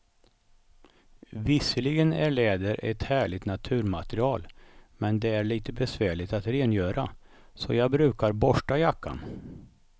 Visserligen är läder ett härligt naturmaterial, men det är lite besvärligt att rengöra, så jag brukar borsta jackan.